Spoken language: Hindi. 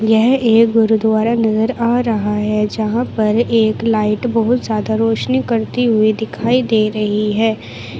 यह एक गुरुद्वारा नजर आ रहा है जहां पर एक लाइट बहुत ज्यादा रोशनी करती हुई दिखाई दे रही है।